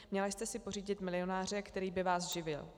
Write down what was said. Měla jste si pořídit milionáře, který by vás živil.